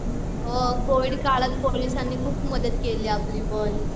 हो कोविड काळात पोलिसांनी पण खूप मदत केली आपली पण